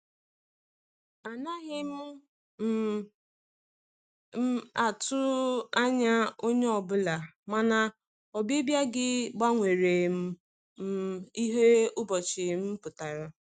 Anaghị um m um atụ anya onye ọ bụla, mana ọbịbịa gị gbanwerem um ihe ụbọchị m pụtara.